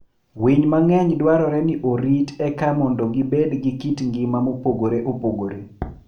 Winy mang'eny dwarore ni orit eka mondo gibed gi kit ngima mopogore opogore.